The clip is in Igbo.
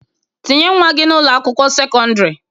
Tinye nwa gi na Ụlọ akwụkwọ sekọndrị.